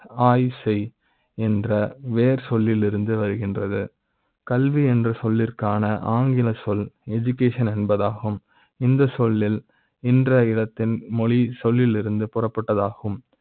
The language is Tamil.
ஆய்வு செய் என்ற வேர்ச் சொல்லிலிருந்து வருகின்றது. கல்வி என்ற சொல்லிற்க்கான ஆங்கில சொல் Education என்பதாகும். இந்த சொல்லி ல் என்ற இல த்தீன் மொழி சொல்லிலிருந்து பெறப்பட்டது ஆகும்